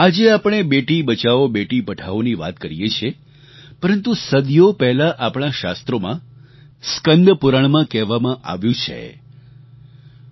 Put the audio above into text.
આજે આપણે બેટી બચાઓ બેટી પઢાઓની વાત કરીએ છીએ પરંતુ સદીઓ પહેલાં આપણાં શાસ્ત્રોમાં સ્કન્દપુરાણમાં કહેવામાં આવ્યું છેઃ